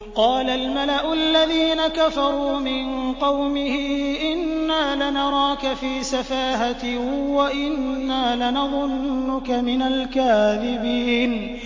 قَالَ الْمَلَأُ الَّذِينَ كَفَرُوا مِن قَوْمِهِ إِنَّا لَنَرَاكَ فِي سَفَاهَةٍ وَإِنَّا لَنَظُنُّكَ مِنَ الْكَاذِبِينَ